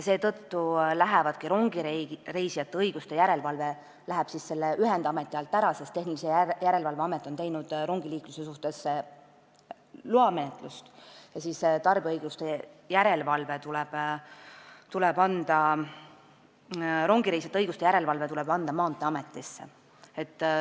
Seetõttu lähebki rongireisijate õiguste järelevalve selle ühendameti alt ära, sest Tehnilise Järelevalve Amet on tegelenud loamenetlusega rongiliikluse suhtes ja rongireisijate õiguste järelevalve tuleb anda Maanteeametile.